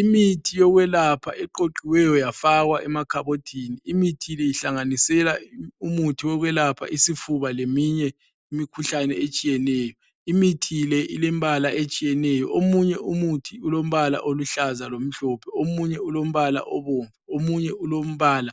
Imithi yokwelapha eqoqiweyo yafakwa emakhabothini, imithi le ihlanganisela umuthi wokwelapha isifuba leminye imikhuhlane etshiyeneyo. Imithi le ilembala etshiyeneyo, omunye umuthi ulombala oluhlaza lomhlophe , omunye ulombala obomvu , omunye ulombala